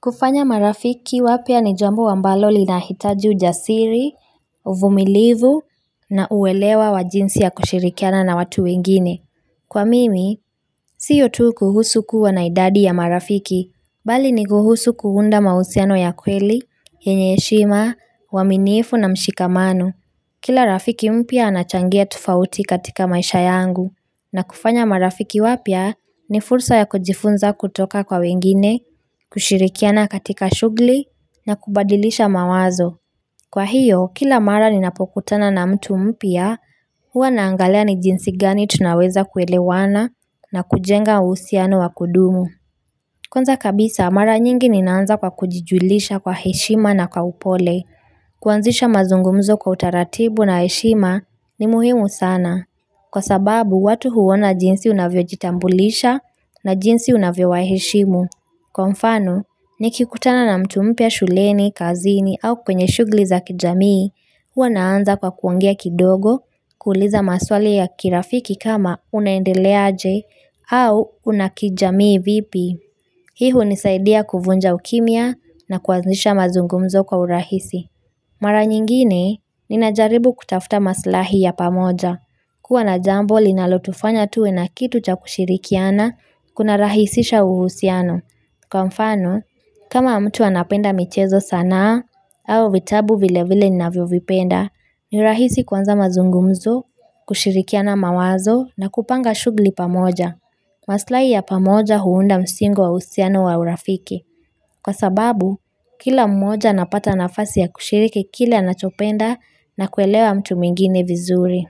Kufanya marafiki wapya ni jambo ambalo lina hitaji ujasiri, uvumilivu, na uwelewa wa jinsi ya kushirikiana na watu wengine. Kwa mimi, siyo tu kuhusu kuwa na idadi ya marafiki, bali ni kuhusu kuunda mahusiano ya kweli, yenye heshima, uaminifu na mshikamano. Kila rafiki mpya anachangia tofauti katika maisha yangu na kufanya marafiki wapya ni fursa ya kujifunza kutoka kwa wengine, kushirikiana katika shughli na kubadilisha mawazo. Kwa hiyo, kila mara ninapokutana na mtu mpya huwa naangalia ni jinsi gani tunaweza kuelewana na kujenga uhusiano wa kudumu. Kwanza kabisa, mara nyingi ninaanza kwa kujijulisha kwa heshima na kwa upole. Kuanzisha mazungumzo kwa utaratibu na heshima ni muhimu sana. Kwa sababu, watu huona jinsi unavyojitambulisha na jinsi unavyo waheshimu. Kwa mfano, nikikutana na mtu mpya shuleni, kazini au kwenye shughuli za kijamii, huwa naanza kwa kuongea kidogo, kuuliza maswali ya kirafiki kama unaendeleaje au unakijamii vipi. Hii hunisaidia kuvunja ukimia na kuanzisha mazungumzo kwa urahisi Mara nyingine, ninajaribu kutafuta maslahi ya pamoja kuwa na jambo linalotufanya tuwe na kitu cha kushirikiana Kuna rahisisha uhusiano Kwa mfano, kama mtu anapenda michezo sana au vitabu vile vile nina vio vipenda ni rahisi kwanza mazungumzo, kushirikiana mawazo na kupanga shughuli pamoja maslahi ya pamoja huunda msingo wa usiano wa urafiki. Kwa sababu, kila mmoja anapata nafasi ya kushiriki kile anachopenda na kuelewa mtu mwingine vizuri.